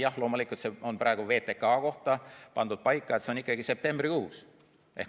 Jah, loomulikult, praegu on vaid VTK aeg pandud paika, aga see on ikkagi septembrikuus.